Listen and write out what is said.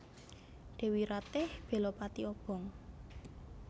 Dèwi Ratih bela pati obong